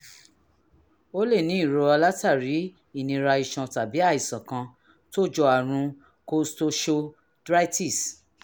o lè ní ìrora látàrí ìnira iṣan tàbí àìsàn kan tó jọ àrùn costochondritis